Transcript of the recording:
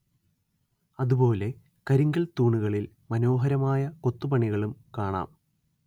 അതുപോലെ കരിങ്കൽ തൂണുകളിൽ മനോഹരമായ കൊത്തുപണികളും കാണാം